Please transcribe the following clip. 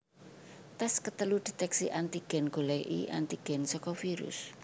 Tes ketelu deteksi antigen goleki antigen saka virus